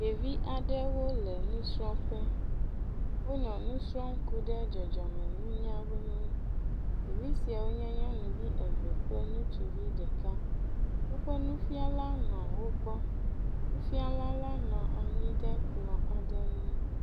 Ɖevi aɖewo le nusrɔ̃ƒe. Wonɔ nu srɔ̃m ku ɖe dzɔdzɔmeŋutinunya nu. Ɖevia siawo nye nyɔnuvi eve kple ŋutsuvi ɖeka. Woƒe nufiala nɔ wo gbɔ. Nufiala la nɔ anyi ɖe kplɔ aɖe ŋu.